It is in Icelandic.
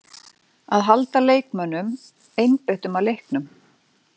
Að halda leikmönnunum einbeittum að leiknum.